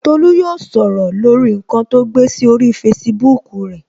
Tolu yóò sọ̀rọ̀ lórí nkan to gbé sí orí Facebook rẹ